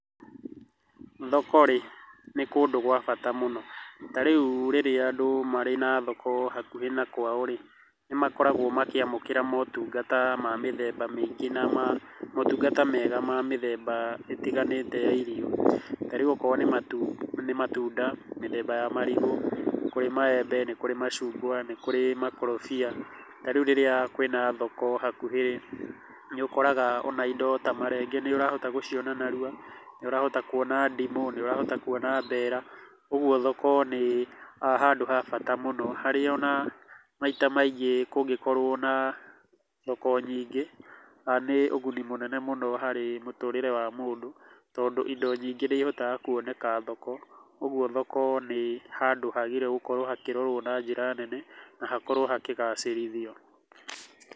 Thoko rĩ nĩ kũndũ gwa bata mũno. Ta rĩu rĩrĩa andũ marĩ na thoko hakuhĩ na kwao rĩ, nĩ makorgwo makĩamũkĩra motungata ma mĩthemba mĩngĩ na ma motungata mega ma mĩthemba ĩtiganĩte ya irio. Ta rĩu ũkorwo nĩ matunda, mĩthemba ya marigũ, nĩ kũrĩ maembe, ni kũrĩ macungwa, nĩ kũrĩ mĩkorobia, ta rĩu rĩrĩa kwĩna thoko hakuhĩ rĩ, nĩ ũkoraga ona indo ta marenge nĩ ũrahota gũciona narua, nĩ ũrahota kuona ndimũ, nĩ ũrahota kuona mbera. Ũguo thoko nĩ handũ ha bata mũno harĩa ona maita maingĩ kũngĩkorwo na thoko nyingĩ nĩ ũguni mũnene mũno harĩ mũndũ, tondũ indo nyingĩ nĩ ihotaga kuoneka thoko. Ũguo thoko nĩ handũ hagĩrĩirwo gũkorũo hakĩrorwo na njĩra nene na hakorwo hakĩgacĩrithio.